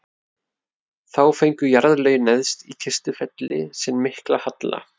þá fengu jarðlögin neðst í kistufelli sinn mikla halla